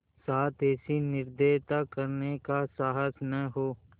साथ ऐसी निर्दयता करने का साहस न हो